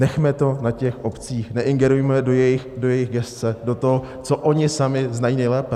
Nechme to na těch obcích, neingerujme do jejich gesce, do toho, co oni sami znají nejlépe.